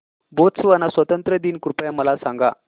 Botswana स्वातंत्र्य दिन कृपया मला सांगा